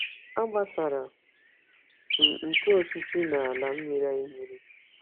Agbasara m ntụ osisi n’ala mmiri mmiri.